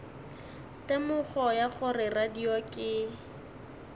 temogo ya gore radio ke